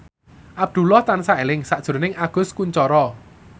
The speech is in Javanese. Abdullah tansah eling sakjroning Agus Kuncoro